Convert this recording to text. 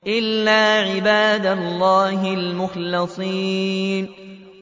إِلَّا عِبَادَ اللَّهِ الْمُخْلَصِينَ